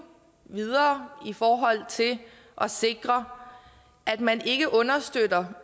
videre i forhold til at sikre at man ikke understøtter